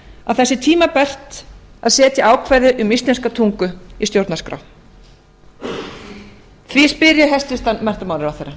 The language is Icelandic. að það sé tímabært að setja ákvæði um íslenska tungu í stjórnarskrá því spyr ég hæstvirtan menntamálaráðherra